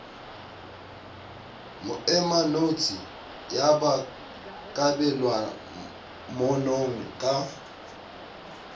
moemanotshi ya ba kabelwamanong ka